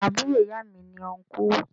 Àbúro ìya mi ni Ọnkú